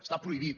està prohibit